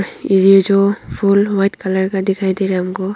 ये य जो फुल व्हाइट कलर का दिखाई दे रहा है हमको।